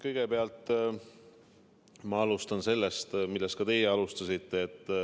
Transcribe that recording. Kõigepealt alustan sellest, millest ka teie alustasite.